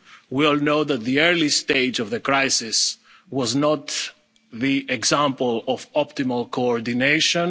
situation. We all know that the early stage of the crisis was not an example of optimal